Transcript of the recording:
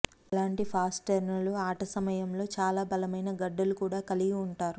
అలాంటి ఫాస్ట్నెర్ర్లు ఆట సమయంలో చాలా బలమైన గడ్డలు కూడా కలిగి ఉంటారు